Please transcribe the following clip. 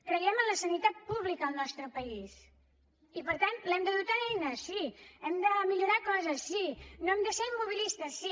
creiem en la sanitat pública al nostre país i per tant l’hem de dotar d’eines sí n’hem de millorar coses sí no hem de ser immobilistes sí